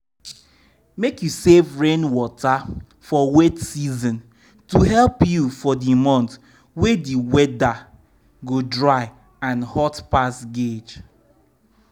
make u save rainwater for wet season to help you for di month wey di weather go dry and hot pass gauge.